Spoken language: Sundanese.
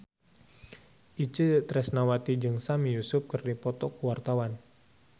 Itje Tresnawati jeung Sami Yusuf keur dipoto ku wartawan